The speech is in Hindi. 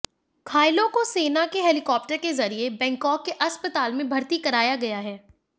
घायलों को सेना के हेलीकॉप्टर के जरिये बैंकॉक के अस्पताल में भर्ती कराया गया है